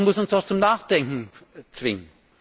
Das muss uns doch zum Nachdenken zwingen.